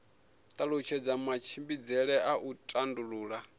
talutshedza matshimbidzele a u tandulula